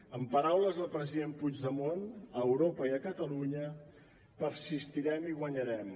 amb paraules del president puigdemont a europa i a catalunya persistirem i guanyarem